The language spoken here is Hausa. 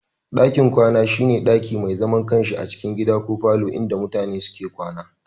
Dakin Kwana shi ne daki mai zaman kansa a cikin gida ko falo inda mutane suke kwana.